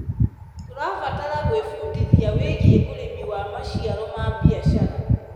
Tũrabatara gwĩbundithia wĩgiĩ ũrĩmi wa maciaro ma biacara.